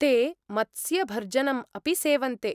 ते मत्स्यभर्जनम् अपि सेवन्ते।